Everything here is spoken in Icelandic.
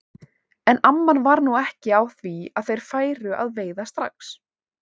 En amman var nú ekki á því að þeir færu að veiða strax.